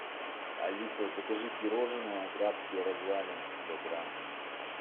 алиса закажи пирожное графские развалины сто грамм